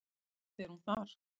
Samt er hún þar.